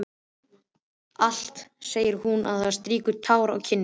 Allt, segir hún þá og strýkur tár af kinn sinni.